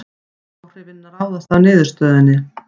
Áhrifin ráðast af niðurstöðunni